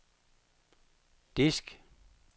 disk